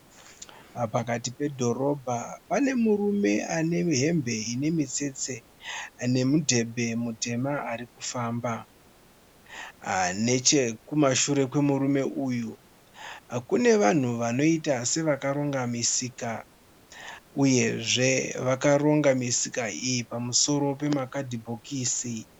Pakati pedhorobha pane murume ane hembe inemutsetse nemudhembe mutema arikufamba. Nechekumashure kwemurume uyu kune vanhu vanoita sevakaronga misika. Uyezve vakaronga misika iyi pamusoro pama kadhibhokisi